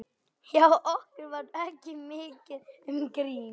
Hjá okkur var ekki mikið um grín.